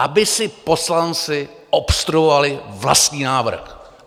Aby si poslanci obstruovali vlastní návrh.